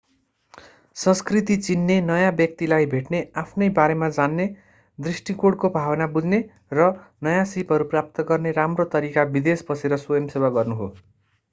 संस्कृति चिन्ने नयाँ व्यक्तिलाई भेट्ने आफ्नै बारेमा जान्ने दृष्टिकोणको भावना बुझ्ने र नयाँ सीपहरू प्राप्त गर्ने राम्रो तरिका विदेश बसेर स्वयं सेवा गर्नु हो